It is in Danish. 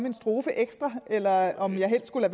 en strofe ekstra eller om jeg helst skulle